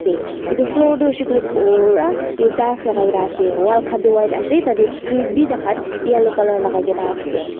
te edu floor tu hoishey koilae pura tiles lakaikaena ase wall khan tu white ase tatae screen bi takhan yellow colour lakaikaena ase.